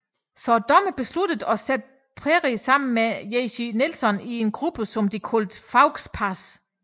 Så dommerne besluttede at sætte Perrie sammen med Jesy Nelson i en gruppe som de kaldte Faux pas